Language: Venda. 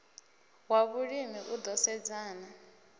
wa vhulimi u ḓo sedzana